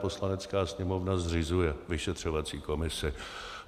Poslanecká sněmovna zřizuje vyšetřovací komisi.